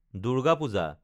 Durga Puja